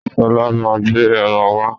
Sọlá máa gbé ẹran wá.